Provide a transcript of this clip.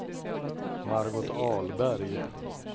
Margot Ahlberg